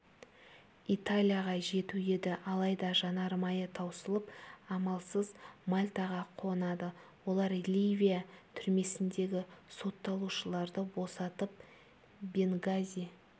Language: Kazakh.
италияға жету еді алайда жанармайы таусылып амалсыз мальтаға қонады олар ливия түрмесіндегі сотталушыларды босатып бенгази